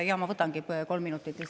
Ma võtangi kolm minutit lisaks.